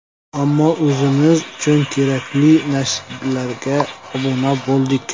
Ammo o‘zimiz uchun kerakli nashrlarga obuna bo‘ldik.